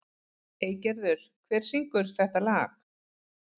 Eygerður, hver syngur þetta lag?